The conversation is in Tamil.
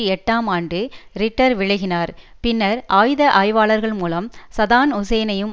எட்டாம் ஆண்டு ரிட்டர் விலகினார் பின்னர் ஆயுத ஆய்வாளர்கள் மூலம் சதாம் ஹூசேனையும்